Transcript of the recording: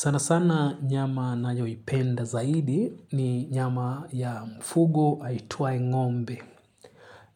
Sana sana nyama ninayoipenda zaidi ni nyama ya mfugo aitwaye ngombe.